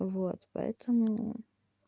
вот поэтому